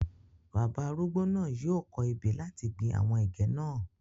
Bàbá arúgbó náà yìí ó kọ̀ ebè láti gbìn àwọn ẹ̀gẹ́ náà